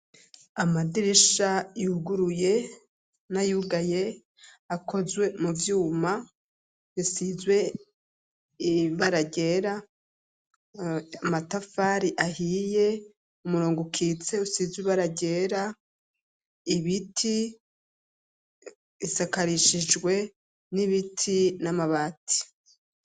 Igitambaro c'umutuku cera icuma cingurukana bumenyi abantu bambaye imyambaro yera yirabura n'indi myambaro amasakoshi ibirato imeza ikozwe mu cuma no mu biti isakarishije ivyatsi.